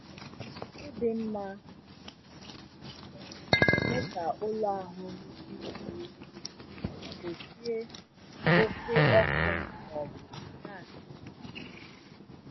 ikuku dị mma na-eme ka ụlọ ahụ dị jụụ ma gbochie oke ọkụ maọbụ gasị amonia.